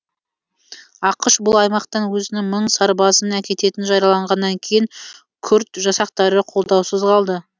ақш бұл аймақтан өзінің мың сарбазын әкететінін жариялағаннан кейін күрд жасақтары қолдаусыз қалды